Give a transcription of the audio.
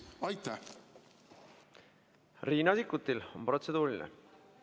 Riina Sikkutil on protseduuriline küsimus.